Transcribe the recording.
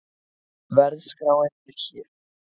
Verðskráin er hér